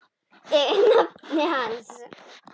Ég er nafni hans.